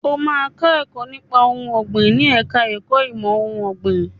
O máa kọ́ nípa ohun ọ̀gbìn ní ẹ̀ka ẹ̀kó ìmọ̀ ohun ọ̀gbìn.